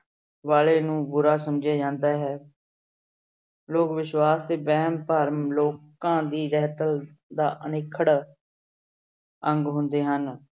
ਵਾਲੇ ਨੂੰ ਬੁਰਾ ਸਮਝਿਆ ਜਾਂਦਾ ਹੈ ਲੋਕ ਵਿਸ਼ਵਾਸ਼ ਤੇ ਵਹਿਮ ਭਰਮ ਲੋਕਾਂ ਦੀ ਰਹਿਤਲ ਦਾ ਅਨਿਖੜ ਅੰਗ ਹੁੰਦੇ ਹਨ।